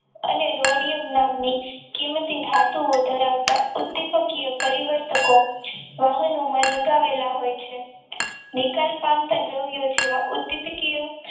અને રોડિયમ નામ ની કીમતી ધાતુઓ ધરાવતા ઉદ્દીપકીય પરિવર્તકો વાહનોમાં લગાવેલા હોય છે નિકાલ પામતા દ્રવ્યો જેવા ઉદ્દીપકીય